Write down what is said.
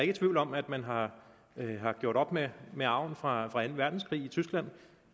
i tvivl om at man har gjort op med med arven fra anden verdenskrig i tyskland